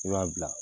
I b'a bila